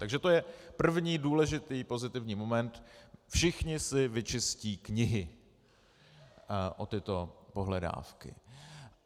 Takže to je první důležitý pozitivní moment - všichni si vyčistí knihy o tyto pohledávky.